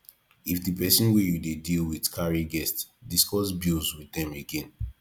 if di person wey you dey deal with carry guest discuss bills with them again